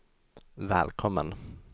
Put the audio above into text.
välkommen